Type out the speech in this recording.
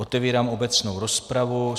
Otevírám obecnou rozpravu.